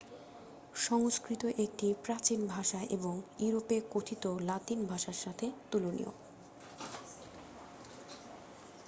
সংস্কৃত একটি প্রাচীন ভাষা এবং ইউরোপে কথিত লাতিন ভাষার সাথে তুলনীয়